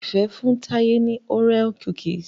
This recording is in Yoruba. Ifẹ fún Taye ní Oreo cookies